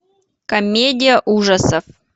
комедия ужасов